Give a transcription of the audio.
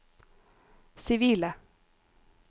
sivile